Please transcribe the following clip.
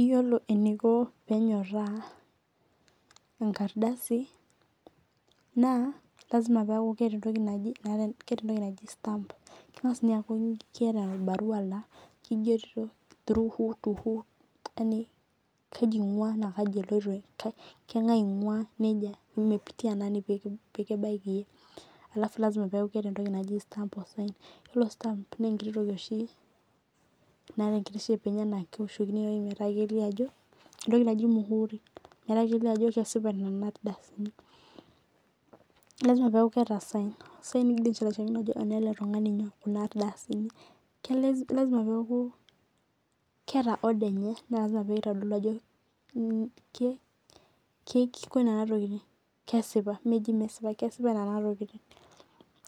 Iyiolo eniko penyorraa enkardasi, naa lasima peku keeta entoki naji, keeta entoki naji stamp. Keng'as inye aku keeta ebarua la kigero through who to who. Yani kaji ing'ua na kaji eloito. Keng'ae ing'ua nejia imepitia nani pekibaiki iyie. Alafu lasima peku keeta entoki naji stamp. Yiolo stamp nenkiti toki oshi naata enkiti shape enye nakeoshokini ewoi metaa kelio ajo, entoki naji muhuri. Metaa kelio ajo kesipa nena ardasini. Lasima peku keeta sign. Sign signature naitodolu ajo enele tung'ani nyoo, kuna ardasini. Lasima peku keeta order enye naata pitodolu ajo kiko nena tokiting, kesipa. Meji mesipa, kesipa nena tokiting.